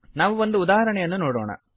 ನಾವು ಒಂದು ಉದಾಹರಣೆಯನ್ನು ನೋಡೋಣ